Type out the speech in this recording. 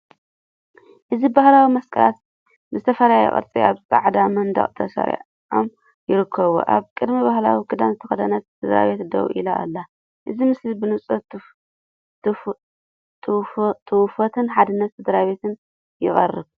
እዚ ባህላዊ መስቀላት ብዝተፈላለየ ቅርጺ ኣብ ጻዕዳ መንደቕ ተሰሪዖም ይርከቡ፤ ኣብ ቅድሚት ባህላዊ ክዳን ዝተኸድነት ስድራቤት ደው ኢላ ኣላ። እዚ ምስሊ ብንጹር ትውፊትን ሓድነት ስድራቤትን የቕርብ።